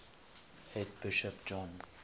head bishop john